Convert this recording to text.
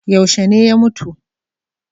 Yaushe ne ya mutu?